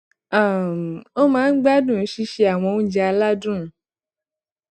um ó máa ń gbádùn sísè àwọn oúnjẹ aládùn